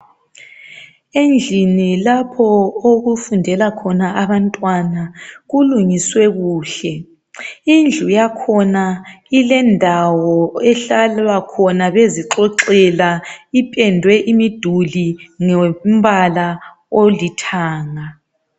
Endlini lapho okufundela khona abantwana kulungiswe kuhle, indlu yakhona ilendawo ehlalwa khona bezixoxela ipendwe imiduli ngombala olithanga.